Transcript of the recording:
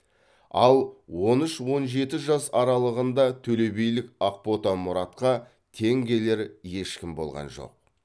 ал он үш он жеті жас аралығында төлебилік ақбота мұратқа тең келер ешкім болған жоқ